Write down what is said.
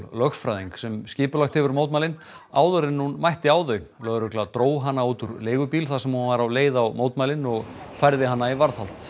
lögfræðing sem skipulagt hefur mótmælin áður en hún mætti á þau lögregla dró hana út úr leigubíl þar sem hún var á leið á mótmælin og færði hana í varðhald